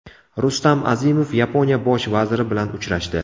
Rustam Azimov Yaponiya bosh vaziri bilan uchrashdi.